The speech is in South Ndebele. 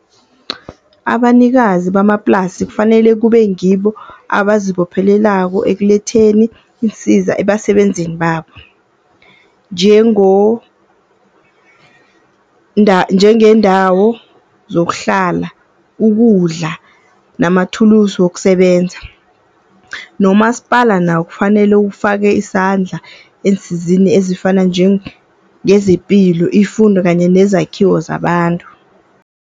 Abanikazi bamaplasi kufanele kube ngibo abazibophelelako ekuletheni iinsiza ebasebenzini babo, njengeendawo zokuhlala, ukudla namathulusu wokusebenza. Nomasipala nawo kufanele ufake isandla ensizini ezifana njengezepilo, ifundo kanye nezakhiwo zabantu.